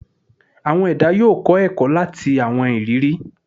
Awọn ẹda yoo kọ ẹkọ lati awọn iriri